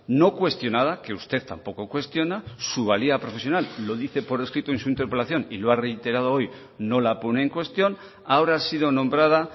no cuestionada que usted tampoco cuestiona su valía profesional lo dice por escrito en su interpelación y lo ha reiterado hoy no la pone en cuestión ahora ha sido nombrada